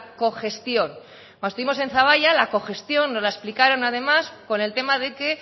cogestión cuando estuvimos en zaballa la cogestión nos la explicaron además con el tema de que